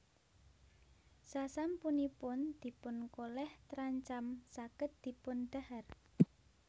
Sasampunipun dipun kolèh trancam saged dipun dhahar